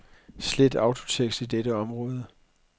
Slet autotekst i dette område.